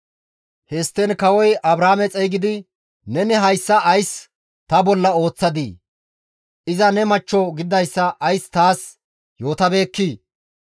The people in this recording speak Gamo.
Histtiin kawozi Abraame xeygidi, «Neni hayssa ays ta bolla ooththadii? Iza ne machcho gididayssa ays taas yootabeekkii?